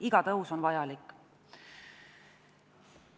Iga tõus on vajalik.